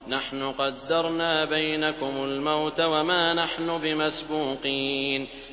نَحْنُ قَدَّرْنَا بَيْنَكُمُ الْمَوْتَ وَمَا نَحْنُ بِمَسْبُوقِينَ